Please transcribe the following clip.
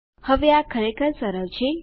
હવે આ ખરેખર સરળ છે